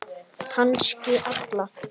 Kannski alla.